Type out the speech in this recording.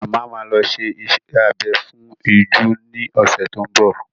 Màmá ma lọ ṣe iṣẹ́ abẹ fún ìju ní ọ̀sẹ̀ tó ń bọ̀.